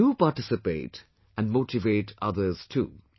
So do participate and motivate others too